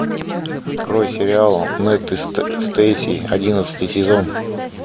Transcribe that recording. открой сериал нед и стейси одиннадцатый сезон